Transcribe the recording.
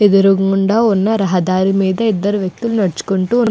ఎదురుగుండా ఉన్న రహదారి మీద ఇద్దరు వ్యక్తులు నడుచుకుంటూ --